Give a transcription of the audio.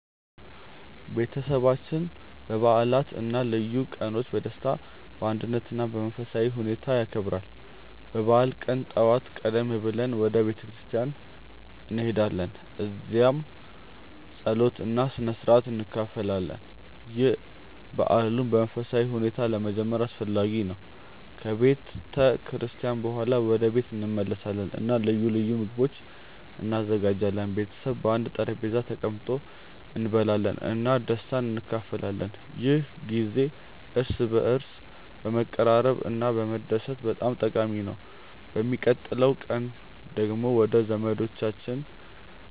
ቤተሰባችን በዓላትን እና ልዩ ቀኖችን በደስታ፣ በአንድነት እና በመንፈሳዊ ሁኔታ ያከብራል። በበዓሉ ቀን ጠዋት ቀደም ብለን ወደ ቤተ ክርስቲያን እንሄዳለን፣ እዚያም ጸሎት እና ስነ-ሥርዓት እንካፈላለን። ይህ በዓሉን በመንፈሳዊ ሁኔታ ለመጀመር አስፈላጊ ነው። ከቤተ ክርስቲያን በኋላ ወደ ቤት እንመለሳለን እና ልዩ ልዩ ምግቦች እንዘጋጃለን። ቤተሰብ በአንድ ጠረጴዛ ተቀምጦ እንበላለን እና ደስታን እንካፈላለን። ይህ ጊዜ እርስ በርስ ለመቀራረብ እና ለመደሰት በጣም ጠቃሚ ነው። በሚቀጥለው ቀን ደግሞ ወደ ዘመዶቻችን